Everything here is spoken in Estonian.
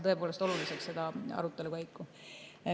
Ma pean seda arutelu oluliseks.